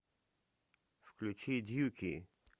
включи дьюки